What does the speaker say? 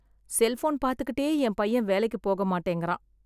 Cellphone பார்த்துக்கிட்டே என் பையன் வேலைக்கு போக மாட்டேங்குறான்.